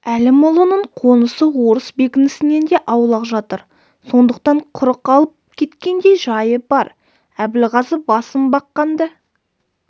әлімұлының қонысы орыс бекінісінен де аулақ жатыр сондықтан құрық алып кеткендей жайы бар әбілғазы басын баққанды